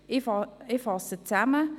Ich fasse zusammen: